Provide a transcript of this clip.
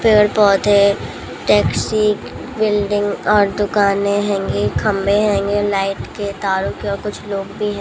भीड़ बहुत है टैक्सी बिल्डिंग और दुकानें हेंगी लाइट के तारों के कुछ लोग भी हैं।